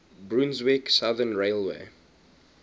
brunswick southern railway